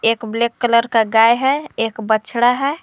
एक black colour का गाय है एक बछड़ा है।